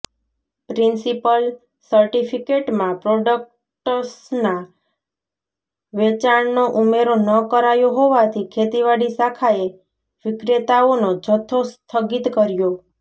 principal સર્ટિફિકેટમાં પ્રોડક્ટ્સના વેચાણનો ઉમેરો ન કરાયો હોવાથી ખેતીવાડી શાખાએ વિક્રેતાઓનો જથ્થો સ્થગિત કર્યો